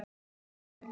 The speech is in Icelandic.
Og því fögnum við.